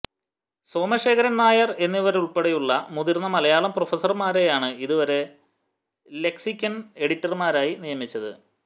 സോമശേഖരൻനായർ എന്നിവരുൾപ്പെടെയുള്ള മുതിർന്ന മലയാളം പ്രൊഫസർമാരെയാണ് ഇതുവരെ ലെക്സിക്കൺ എഡിറ്റർമാരായി നിയമിച്ചത്